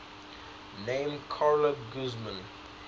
named carla guzman